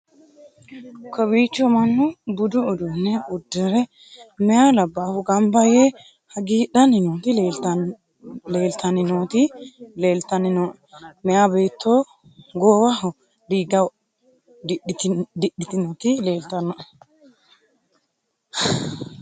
kowiicho mannu budu uduunne uddire meya labbahu gamba yee hagiidhanni nooti leeltanni nooti leeltanni nooe meya beetto goowaho diigga didhitinoti leeeltannoe